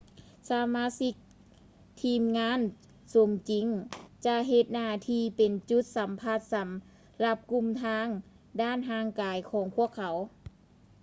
ສະມາຊິກທີມງານສົມຈິງຈະເຮັດໜ້າທີ່ເປັນຈຸດສຳພັດສຳລັບກຸ່ມທາງດ້ານຮ່າງກາຍຂອງພວກເຂົາ